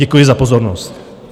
Děkuji za pozornost.